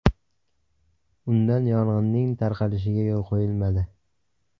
Undan yong‘inning tarqalishiga yo‘l qo‘yilmadi.